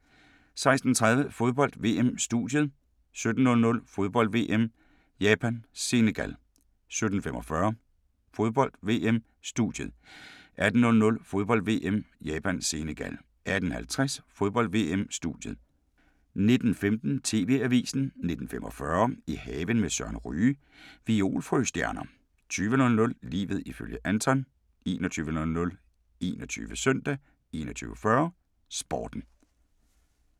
16:30: Fodbold: VM - studiet 17:00: Fodbold: VM - Japan-Senegal 17:45: Fodbold: VM - studiet 18:00: Fodbold: VM - Japan-Senegal 18:50: Fodbold: VM - studiet 19:15: TV-avisen 19:45: I haven med Søren Ryge: Violfrøstjerner 20:00: Livet ifølge Anton 21:00: 21 Søndag 21:40: Sporten